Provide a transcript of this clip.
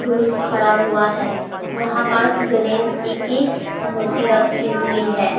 पुरुष खड़ा हुआ है यहां पास गणेश जी की मूर्ति रखी हुई है।